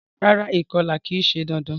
Rárá, ìkolà ki se dandan